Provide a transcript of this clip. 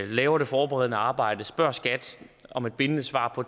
laver det forberedende arbejde og spørger skat om et bindende svar på